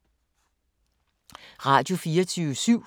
Radio24syv